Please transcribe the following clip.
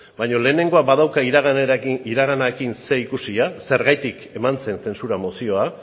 baina lehenengoak badauka iraganarekin zerikusia zergatik eman zen zentzura mozioa